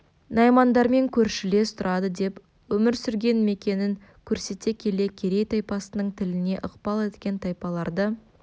наймандармен көршілес тұрады деп өмір сүрген мекенін көрсете келе керей тайпасының тіліне ықпал еткен тайпаларды